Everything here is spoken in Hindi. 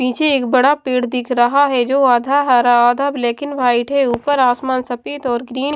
नीचे एक बड़ा पेड़ दिख रहा है जो आधा हरा आधा ब्लैक एंड वाइट है ऊपर आसमान सफेद और ग्रीन --